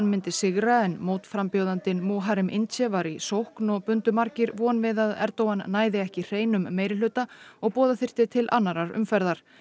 myndi sigra en mótframbjóðandinn Muharrem Ince var í sókn og bundu margir vonir við að Erdogan næði ekki hreinum meirihluta og boða þyrfti til annarrar umferðar